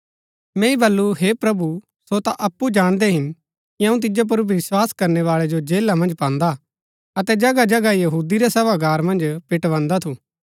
मैंई बल्लू हे प्रभु सो ता अप्पु जाणदै हिन कि अऊँ तिजो पुर विस्वास करनैवाळै जो जेला मन्ज पान्दा अतै जगह जगह यहूदी रै सभागार मन्ज पिटवान्दा थु